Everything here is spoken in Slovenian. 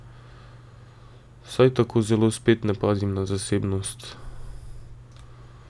Saj tako zelo spet ne pazim na zasebnost.